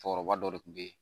Cɛkɔrɔba dɔ de tun bɛ yen